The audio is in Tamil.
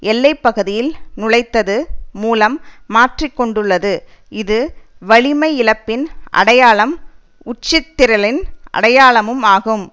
எல்லை பகுதியில் நுழைத்தது மூலம் மாற்றி கொண்டுள்ளது இது வலிமை இழப்பின் அடையாளம் உட்சிதறலின் அடையாளமும் ஆகும்